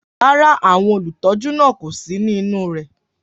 Rárá, àwọn olùtọ́jú náà kò sí nínú rẹ̀.